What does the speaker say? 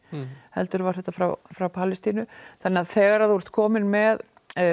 heldur var þetta frá frá Palestínu þannig að þegar þú ert kominn með